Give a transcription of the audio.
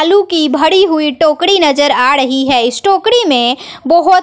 आलू की भरी हुई टोकरी नजर आ रही है इस टोकरी में बहोत--